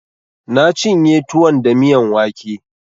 Na cinye tuwon da miyan wake